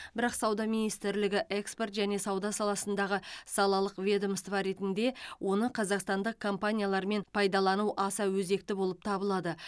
бірақ сауда министрлігі экспорт және сауда саласындағы салалық ведомство ретінде оны қазақстандық компаниялармен пайдалану аса өзекті болып табылады